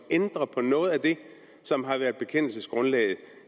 ændrer på noget af det som har været bekendelsesgrundlaget